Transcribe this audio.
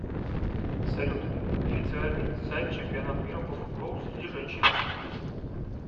салют официальный сайт чемпионат мира по футболу среди женщин